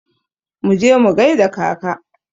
Mu je mu gaida kaka!